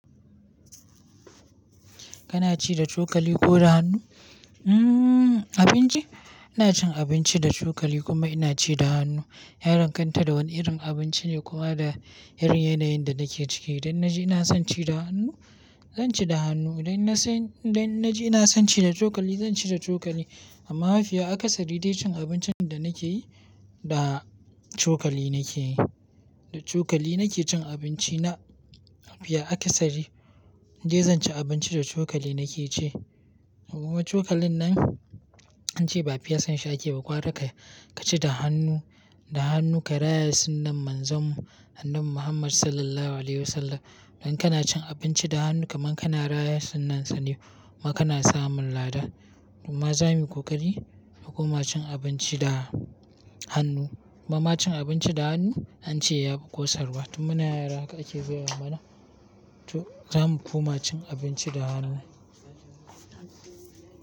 Kana ci da cokali ko da hannu? Hmm abinci? Ina cin abinci da cokali kuma ina ci da hannu. Yadanganta da wani irin abinci ne kuma da irin yanayin da nake ciki. Idan na ji ina son ci da hannu, zan ci da hannu. Idan na san-- idan na ji ina son ci da cokali, zan ci da cokali. Amma mafiya akasari dai cin abincin da nake yi, da cokali nake yi. Da cokali nake cin abinci na. Mafiya akasari in dai zan ci abinci da cokali nake ci. Kuma cokalin nan an ce ba fiyasa shi ake ba, gwara ka ci da hannu, da hannu ka raya sunnan Manzamu hannun Muhammad Sallallahu Alaihi Wasallam. Idan kana cin abinci da hannu kamar kana raya sunnansa ne kuma kana samun lada. Kuma za mu yi ƙoƙari mu kuma cin abinci da hannu. Kuma ma cin abinci da hannu an ce ya fi ƙosarwa. Tun muna yara haka ake gaya mana. To za mu koma cin abinci da hannu.